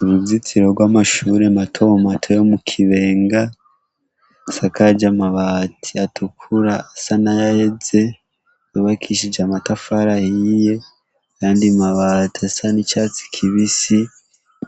Uruzitiro rw'amashure mato mato yo mu Kibenga asakaje amabati atukura asa n'ayaheze yubakishije amatafari ahiye n'ayandi mabati asa n'icatsi kibisi